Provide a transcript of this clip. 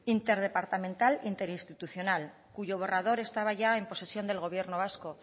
interdepartamental interinstitucional cuyo borrador estaba ya en posesión del gobierno vasco